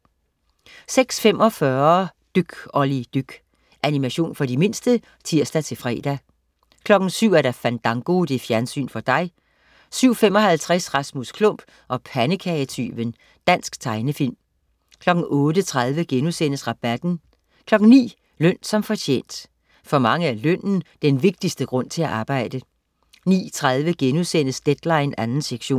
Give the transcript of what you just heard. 06.45 Dyk Olli dyk. Animation for de mindste (tirs-fre) 07.00 Fandango. Fjernsyn for dig 07.55 Rasmus Klump og pandekagetyven. Dansk tegnefilm 08.30 Rabatten* 09.00 Løn som fortjent. For mange er lønnen den vigtigste grund til at arbejde 09.30 Deadline 2. sektion*